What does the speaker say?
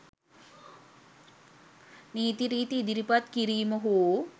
නීති රීති ඉදිරිපත් කිරීම හෝ